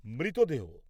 মৃতদেহ